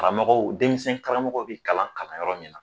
Karamɔgɔw denmisɛn karamɔgɔw bi kalan kalan yɔrɔ min na